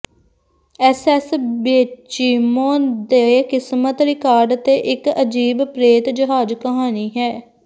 SS Baychimo ਦੇ ਕਿਸਮਤ record ਤੇ ਇਕ ਅਜੀਬ ਪ੍ਰੇਤ ਜਹਾਜ਼ ਕਹਾਣੀ ਹੈ